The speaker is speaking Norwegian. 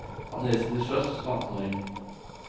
Han reiste til sjøs som attenåring.